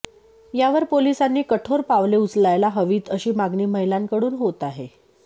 यावर पोलिसांनी कठोर पावले उचलायला हवीत अशी मागणी महिलांकडून होत आहे